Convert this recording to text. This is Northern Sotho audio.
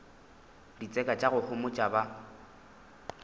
ditseka tša go homotša ba